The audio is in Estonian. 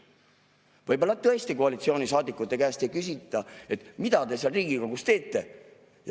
Võib-olla tõesti koalitsioonisaadikute käest ei küsita, et mida te seal Riigikogus teete.